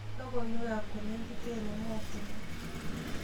Logoiwekab kolekit eng emetinwok